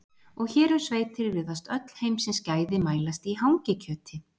Og hér um sveitir virðast öll heimsins gæði mælast í hangikjöti.